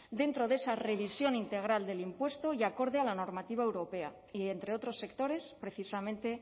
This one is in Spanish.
dentro de esa revisión integral del impuesto y acorde a la normativa europea y entre otros sectores precisamente